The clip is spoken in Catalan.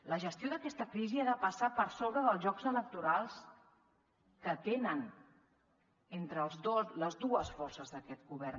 la gestió d’aquesta crisi ha de passar per sobre dels jocs electorals que tenen entre les dues forces d’aquest govern